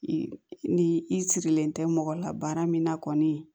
Ni i sirilen tɛ mɔgɔ la baara min na kɔni